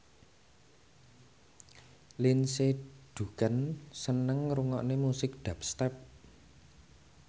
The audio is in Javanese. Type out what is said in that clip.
Lindsay Ducan seneng ngrungokne musik dubstep